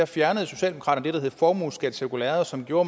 fjernede socialdemokraterne det der hed formueskattecirkulæret som gjorde